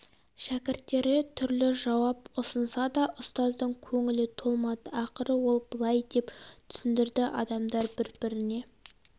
шәкірттері түрлі жауап ұсынса да ұстаздың көңілі толмады ақыры ол былай деп түсіндірді адамдар бір біріне